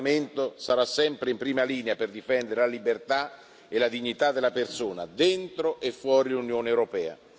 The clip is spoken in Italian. Questo Parlamento sarà sempre in prima linea per difendere la libertà e la dignità della persona, dentro e fuori l'Unione europea.